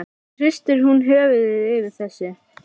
Svo hristir hún höfuðið yfir þessu.